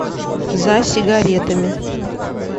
за сигаретами